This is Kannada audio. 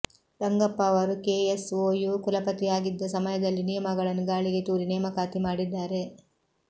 ರಂಗಪ್ಪ ಅವರು ಕೆಎಸ್ಒಯು ಕುಲಪತಿಯಾಗಿದ್ದ ಸಮಯದಲ್ಲಿ ನಿಯಮಗಳನ್ನು ಗಾಳಿಗೆ ತೂರಿ ನೇಮಕಾತಿ ಮಾಡಿದ್ದಾರೆ